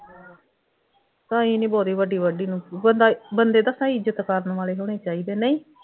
ਅਸੀਂ ਨਹੀਂ ਬੋਰੀ ਵੱਢੀ ਨੂੰ, ਬੰਦਾ ਬੰਦੇ ਤਾਂ ਸਹੀ ਇੱਜ਼ਤ ਕਰਨ ਵਾਲੇ ਹੋਣੇ ਚਾਹੀਦੇ ਨਹੀਂ